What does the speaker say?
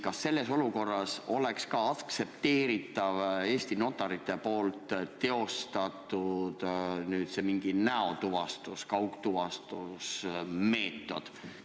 Kas selles olukorras oleks aktsepteeritav Eesti notarite teostatud mingi näotuvastus-, kaugtuvastusmeetod?